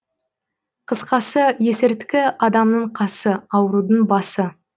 қысқасы есірткі адамның қасы аурудың басы